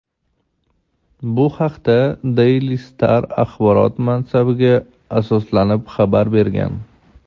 Bu haqda "Daily Star" axborot manbasiga asoslanib xabar bergan.